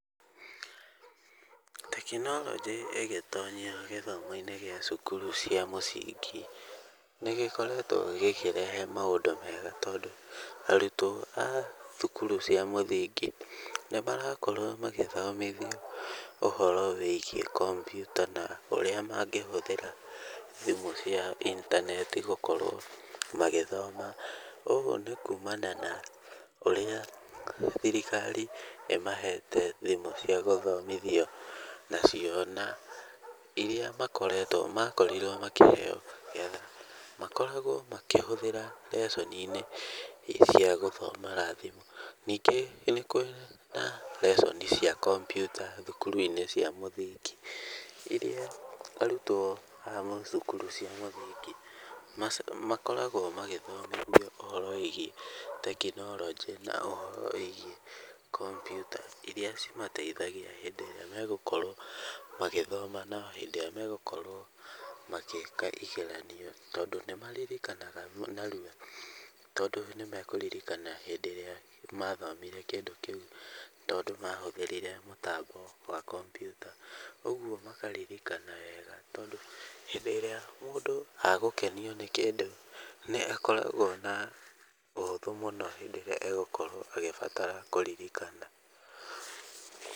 Tekinoronjĩ ĩgĩtonyia gĩthomo-inĩ gĩa cukuru cia mũcingi, nĩ gĩkoretwo gĩkĩrehe maũndũ mega, tondũ arutwo a thukuru cia mũthingi, nĩmarakorwo magĩthomothio ũhoro wĩgiĩ computer na ũrĩa mangĩhũthĩra thimũ cia intaneti gũkorwo magĩthoma. Ũguo nĩ kumana na ũrĩa thirikari ĩmahete thimũ cia gũthomithio nacio, na iria makoretwo makorirwo makĩheyo, getha makoragwo makĩhũthĩra lesson -inĩ cia gũthoma na thimũ. Ningĩ nĩkũrĩ na lesson cia computer thukuru-inĩ cia mũthingi, iria arutwo a mathukuru cia mamũthingi, makoragwo magĩthomithio ũhoro wĩgiĩ tekinoronjĩ, na ũhoro wĩgiĩ computer iria cimateithagia hĩndĩ ĩrĩa megũkorwo magĩthoma na hĩndĩ ĩrĩa megũkorwo magĩka igeranio. Tondũ nĩ maririkanaga narua, tondũ nĩ mekũririkana hĩndĩ ĩrĩa mathomire kĩndũ kĩu. Tondũ mahũthĩrire mũtambo wa computer . Ũguo makaririkana wega tondũ hĩndĩ ĩrĩa mũndũ agũkenio nĩ kĩndũ, nĩ akoragwo na ũhũthũ mũno hĩndĩ ĩrĩa egũkorwo agĩbatara kũririkana.